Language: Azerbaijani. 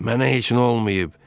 Mənə heç nə olmayıb.